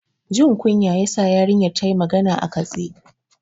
Jin kunya ya sa yarinyar ta yi magana a katse.